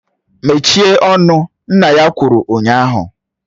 Mechie ọnụ! Nna ya kwuru ụnyaahụ!